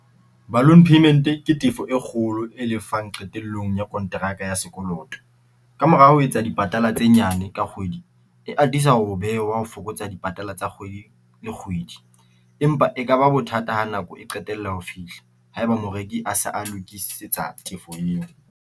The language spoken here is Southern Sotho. Balloon payment ke tefo e kgolo e lefang qetellong ya kontraka ya sekoloto. Ka mora ho etsa dipatala tse nyane ka kgwedi, e atisa ho bewa ho fokotsa dipatala tsa kgwedi le kgwedi. Empa e ka ba bothata ha nako e qetella ho fihla ha e ba moreki a se a lokisetsa tefo eo.